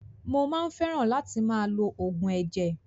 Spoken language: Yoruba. Mo máa ń fẹ́ràn látì máa lo oògùn ẹ̀jẹ̀.